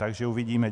Takže uvidíme.